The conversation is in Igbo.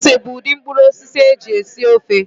Ose bụ udị mkpụrụosisi a eji esi ofe